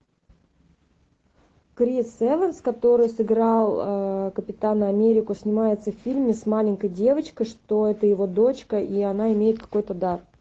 крис эванс который сыграл капитана америку снимается в фильме с маленькой девочкой что это его дочка и она имеет какой то дар